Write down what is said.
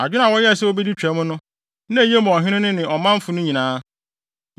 Adwene a wɔyɛɛ sɛ wobedi Twam no, na eye ma ɔhene no ne ɔmanfo no nyinaa.